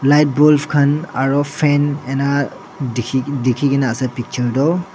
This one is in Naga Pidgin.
light bulb khan aru fan ening ka dekhi kena ase picture to.